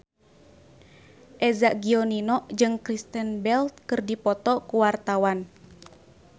Eza Gionino jeung Kristen Bell keur dipoto ku wartawan